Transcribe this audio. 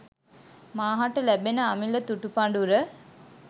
මා හට ලැබෙන අමිල තුටු පඩුර.